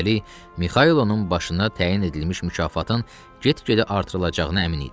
Üstəlik, Mixailin başına təyin edilmiş mükafatın get-gedə artırılacağına əmin idi.